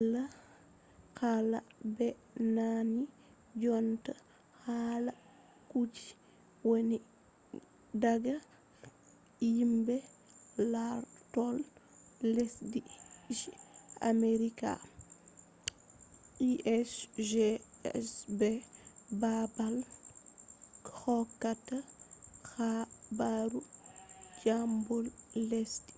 wala hala ɓe nani jonta hala kuje wonni daga yimbe lartol lesdi je amerika usgs be babal hokkata habaru dimbol lesdi